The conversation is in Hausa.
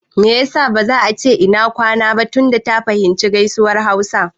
Me ya sa ba za a ce "Ina kwana" ba tunda ta fahimci gaisuwar hausa?